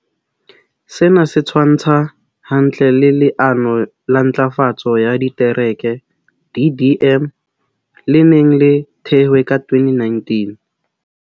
Sena se tshwantshwa hantle le Le ano la Ntlafatso ya Ditereke, DDM, le neng le thehwe ka 2019.